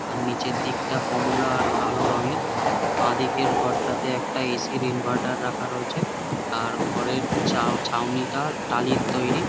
আর নিচের দিকটা কমলা আর কালো রঙের বাঁদিকের ঘরটাতে একটা এ_সি র ইন্ভার্টার রাখা রয়েছে আর ঘরের চাউ ছাউনিটা টালির তৈরি।